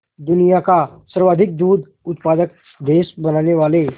दुनिया का सर्वाधिक दूध उत्पादक देश बनाने वाले